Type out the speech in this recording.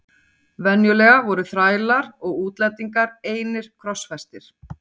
Venjulega voru þrælar og útlendingar einir krossfestir.